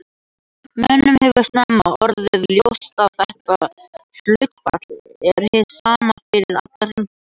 Mönnum hefur snemma orðið ljóst að þetta hlutfall er hið sama fyrir alla hringi.